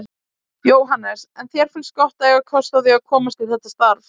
Jóhannes: En þér finnst gott að eiga kost á því að komast í þetta starf?